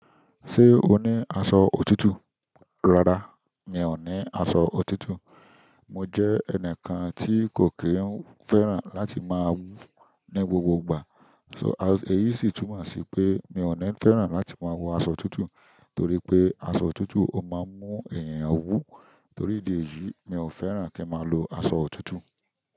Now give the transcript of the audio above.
Ṣé o ní aṣọ òtútù? Rárá, mi ò ní aṣọ òtútù. Mo jẹ́ ẹnìkan tí kò kí ń fẹ́ràn láti máa wú ní gbogbo ìgbà. Èyí si túnmọ̀ si pe mi o ni fẹ́ràn láti má wọ aṣọ òtútù torí pé aṣọ òtútù o máa mú ènìyàn wu. Torí ìdí èyí, mi ò fẹ́ràn kí n máa lo aṣọ òtútù.